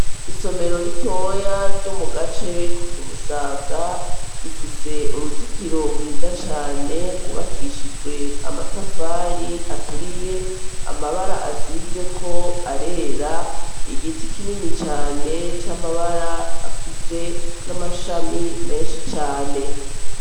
Isomero ritoya ryo mu gace ko ku Musaga, rifise uruzitiro rwiza cane, rwubakishijwe amatafari aturiye, amabara asizeko arera, igiti kinini cane c'amabara afise n'amashami menshi cane.